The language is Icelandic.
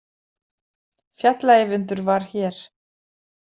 Fjalla- Eyvindur var hér!